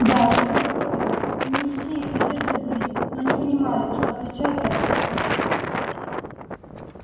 да жизнь была трудна и не все их надежды сбылись но они понимали что отличаются от всех прочих